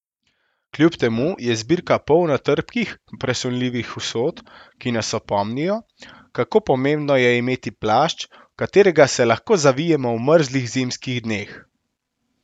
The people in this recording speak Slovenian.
Kljub temu je zbirka polna trpkih, presunljivih usod, ki nas opomnijo, kako pomembno je imeti plašč, v katerega se lahko zavijemo v mrzlih zimskih dneh.